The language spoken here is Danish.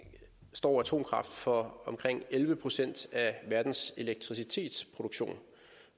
står atomkraft for omkring elleve procent af verdens elektricitetsproduktion